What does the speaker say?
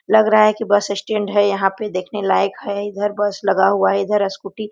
लग रहा है कि बस स्टैंड है यहाँ पे देखने लायक है इधर बस लगा हुआ है इधर स्कूटी --